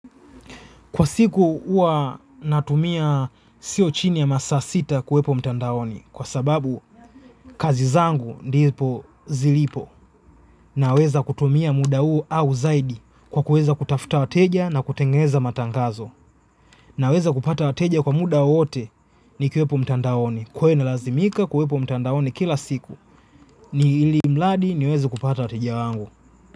Kwa siku huwa natumia sio chini ya masaa sita ya kuwepo mtandaoni kwa sababu kazi zangu ndipo zilipo naweza kutumia muda huo au zaidi kwa kuweza kutafuta wateja na kutengeneza matangazo naweza kupata wateja kwa muda wowote nikiwepo mtandaoni kwa hiyo inalazimika kuwepo mtandaoni kila siku ni ilimladi niweze kupata wateja wangu.